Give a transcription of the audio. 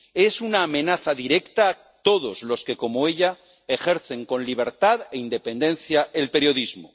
Es una amenaza directa a todos los que, como ella, ejercen con libertad e independencia el periodismo.